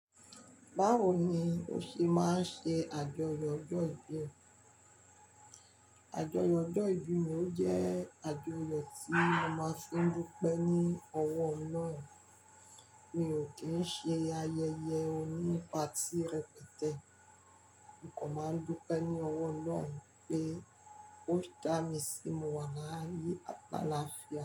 Báwo ni ó ṣe máa ń ṣe àjọyọ̀ ọjọ́ ìbí? Àjọyọ̀ ọjọ́ ìbí mi ò jẹ́ àjọyọ̀ tí mo máa ń fi dúpẹ́ ní ọwọ́ Ọlọ́run, mi ò kí ń ṣe ayẹyẹ onípati rẹpẹtẹ. Mo kan máa ń dúpẹ́ ní ọwọ́ Ọlọ́run pé ó dá mi sí mo wà láàyè àtaálàfía.